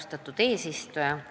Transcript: Austatud eesistuja!